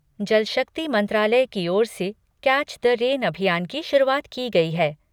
जल शक्ति मंत्रालय की ओर से 'कैच द रेन' अभियान की शुरूआत की गई है।